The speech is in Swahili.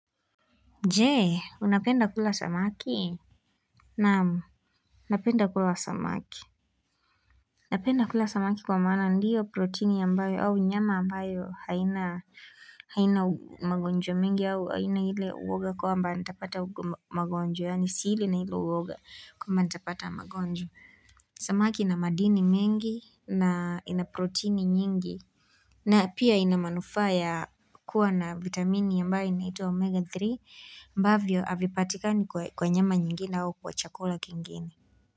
Jee, unapenda kula samaki? Namu, napenda kula samaki. Unapenda kula samaki kwa mana ndiyo proteini yambayo au nyama ambayo haina magonjwa mingi au haina hile uoga kwa mba nitapata magonjwa. Yani sili na hilo uoga kwamba nitapata magonjwa. Samaki ina madini mengi na inaproteini nyingi. Na pia inamanufaya kuwa na vitamini yambae inatwa omega three mbavyo avipatikani kwa nyama nyingine hawa kwa chakula kingine.